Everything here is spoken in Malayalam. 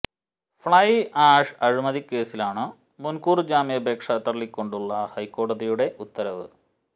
ഫ്ലൈ ആഷ് അഴിമതി കേസിലാണ് മുന്കൂര് ജാമ്യാപേക്ഷ തള്ളിക്കൊണ്ടുള്ള ഹൈക്കോടതിയുടെ ഉത്തരവ്